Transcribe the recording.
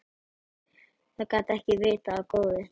Það gat ekki vitað á gott.